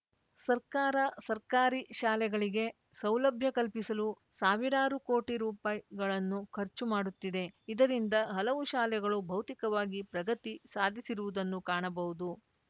ಸರ್ಕಾರ ಸರ್ಕಾರಿ ಶಾಲೆಗಳಿಗೆ ಸೌಲಭ್ಯ ಕಲ್ಪಿಸಲು ಸಾವಿರಾರು ಕೋಟಿ ರುಪಾಯಿ ಗಳನ್ನು ಖರ್ಚು ಮಾಡುತ್ತಿದೆ ಇದರಿಂದ ಹಲವು ಶಾಲೆಗಳು ಭೌತಿಕವಾಗಿ ಪ್ರಗತಿ ಸಾಧಿಸಿರುವುದನ್ನು ಕಾಣಬಹುದು